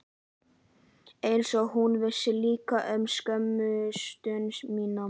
Einsog hún vissi líka um skömmustu mína.